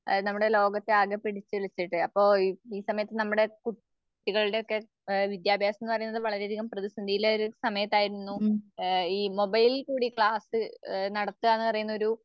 അനമ്മുടെ ലോകത്തെ ആകെ പിടിച്ചുലച്ച് അപ്പൊ ഈ സമയത്ത് നമ്മുടെ കുട്ടികളുടെയൊക്കെ ആഹ് വിദ്യാഭാസംന്ന് പറയുന്നത് വളരെയധികം പ്രതിസന്ധിയിലായിരുന്ന സമയത്തായിരുന്നു ആഹ് മൊബൈലിൽകൂടി ക്ലാസ്സ് നടത്തുകാന്ന് പറയുന്നൊരു